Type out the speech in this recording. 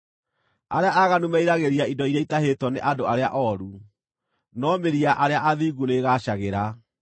Arĩa aaganu meriragĩria indo iria itahĩtwo nĩ andũ arĩa ooru, no mĩri ya arĩa athingu nĩĩgaacagĩra.